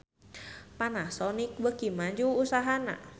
Panasonic beuki maju usahana